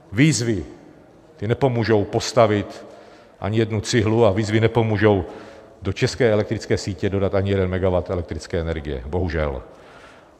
Výzvy nepomůžou postavit ani jednu cihlu a výzvy nepomůžou do české elektrické sítě dodat ani jeden megawatt elektrické energie, bohužel.